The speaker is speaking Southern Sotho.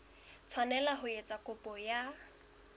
tshwanela ho etsa kopo ya